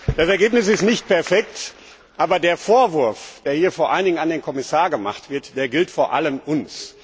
Das Ergebnis ist nicht perfekt, aber der Vorwurf, der hier vor allen Dingen dem Kommissar gemacht wird, gilt vor allem uns.